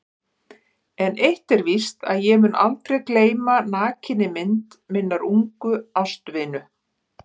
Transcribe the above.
En eitt er víst að ég mun aldrei gleyma nakinni mynd minnar ungu ástvinu.